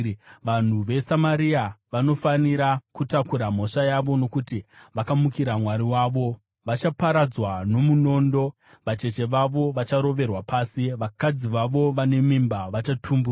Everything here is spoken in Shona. Vanhu veSamaria vanofanira kutakura mhaka yavo, nokuti vakamukira Mwari wavo. Vachaparadzwa nomunondo; vacheche vavo vacharoverwa pasi. Vakadzi vavo vane mimba vachatumburwa.”